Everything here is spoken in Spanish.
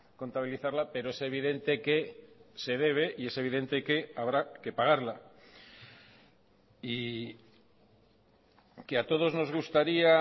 contabilizarla pero es evidente que se debe y es evidente que habrá que pagarla y que a todos nos gustaría